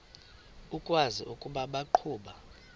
ukwazi ukuba baqhuba